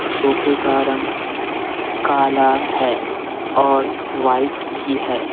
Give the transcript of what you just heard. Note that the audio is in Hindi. सोफे का रंग काला है और वाइट भी है।